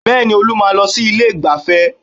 Bẹ́ẹ̀ni Olú máa ń lọ sí ilé ìgbáfẹ́